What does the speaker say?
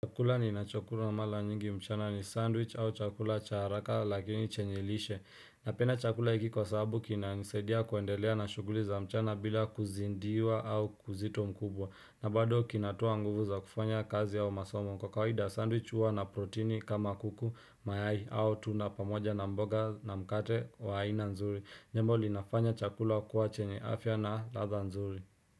Chakula ninacho kula mala nyingi mchana ni sandwich au chakula cha haraka lakini chenye lishe Napenda chakula hiki kwa sababu kina nisaidia kuendelea na shuguli za mchana bila kuzindiwa au kuzito mkubwa na bado kinatoa nguvu za kufanya kazi au masomo kwa kawaida sandwich uwa na proteini kama kuku mayai au tuna pamoja na mboga na mkate wa haina nzuri Nyembo linafanya chakula kuwa chenye afya na latha nzuri.